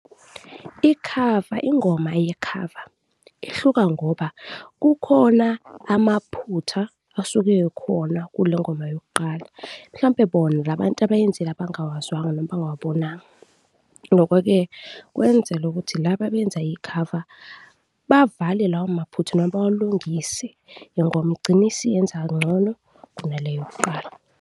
Ikhava, ingoma yekhava ihluka ngoba kukhona amaphutha asuke ekhona kulengoma yokuqala, mhlawumbe bona la bantu abayenzile abangawazwanga noma bangawabonanga. Nokho-ke, kwenzela ukuthi la abenza ikhava, bavale lawo maphutha noma bawalungise ingoma igcine isiyenza ngcono kuna le yokuqala.